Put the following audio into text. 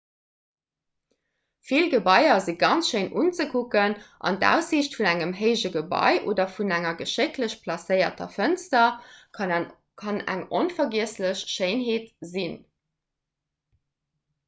vill gebaier si ganz schéin unzekucken an d'aussiicht vun engem héije gebai oder vun enger geschécklech placéierter fënster kann eng onvergiesslech schéinheet sinn